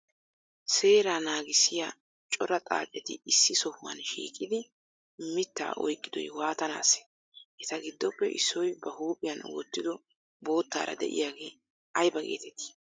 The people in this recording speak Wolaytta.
Seeraa naagissiya cora xaacceeti issi sohuwan shiiqidi mittaa ayqqidoy waatanasee? Etaa giddoppe issoy ba huphiyan wotido bottaraa de7iyagee aybaa geetetti?